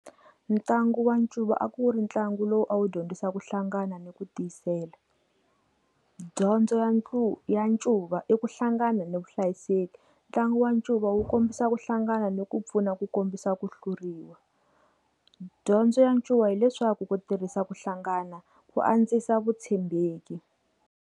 Ntlangu wa ncuva a ku ri ntlangu lowu a wu dyondzisa ku hlangana ni ku tiyisela dyondzo ya ntlu ya ncuva eku hlangana ni vuhlayiseki ntlangu wa ncuva wu kombisa ku hlangana ni ku pfuna ku kombisa ku hluriwa dyondzo ya ncuva hileswaku ku tirhisa ku hlangana ku andzisa vutshembeki.